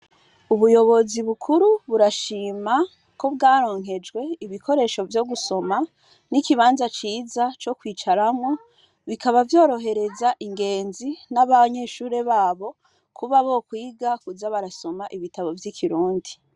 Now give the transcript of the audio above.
Ubuyobozi bukuru burashima, ko bwaronkejwe ibikoresho vyo gusoma, n'ikibanza ciza co kwicaramwo, bikaba vyorohereza ingenzi n'abanyeshure babo, kuba bokwiga kuza barasoma ibitabo vy'ikirundi.